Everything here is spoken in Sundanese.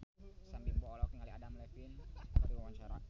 Sam Bimbo olohok ningali Adam Levine keur diwawancara